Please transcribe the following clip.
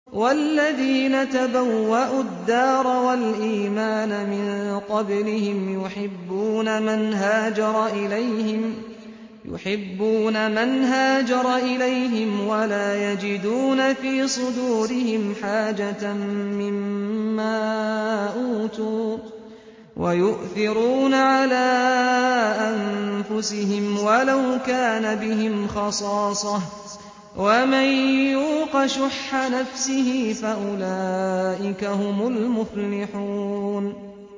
وَالَّذِينَ تَبَوَّءُوا الدَّارَ وَالْإِيمَانَ مِن قَبْلِهِمْ يُحِبُّونَ مَنْ هَاجَرَ إِلَيْهِمْ وَلَا يَجِدُونَ فِي صُدُورِهِمْ حَاجَةً مِّمَّا أُوتُوا وَيُؤْثِرُونَ عَلَىٰ أَنفُسِهِمْ وَلَوْ كَانَ بِهِمْ خَصَاصَةٌ ۚ وَمَن يُوقَ شُحَّ نَفْسِهِ فَأُولَٰئِكَ هُمُ الْمُفْلِحُونَ